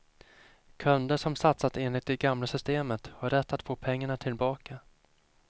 Kunder som satsat enligt det gamla systemet har rätt att få pengarna tillbaka.